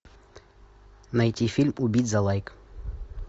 найти фильм убить за лайк